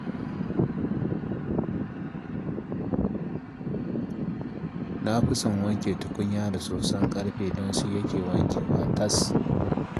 Na fi son wanke tukunya da soson ƙarfe don shi yake wankewa tas